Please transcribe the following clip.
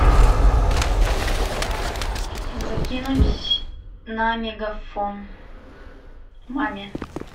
закинуть на мегафон маме